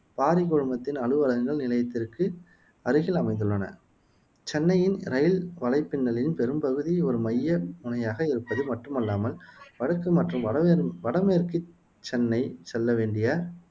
பாரி குழுமத்தின் அலுவலகங்கள் நிலையத்திற்கு அருகில் அமைந்துள்ளன சென்னையின் இரயில் வலைப்பின்னலின் பெரும்பகுதி ஒரு மைய முனையமாக இருப்பது மட்டுமல்லாமல் வடக்கு மற்றும் வடமேர் வடமேற்கு சென்னை செல்ல வேண்டிய